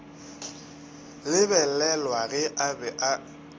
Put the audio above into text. lebelelwa ge a be a